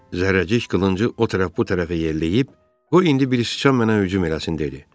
Zərrəcik qılıncı o tərəf bu tərəfə yelləyib, qoy indi bir sıçan mənə hücum eləsin dedi.